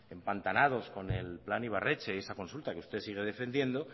empantanados con el plan ibarretxe y esa consulta que usted sigue defendiendo